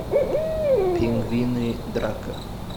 пингвины драка